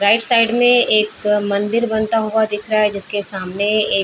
right side में एक मंदिर बनता हुआ दिख रहा है जिसके सामने एक --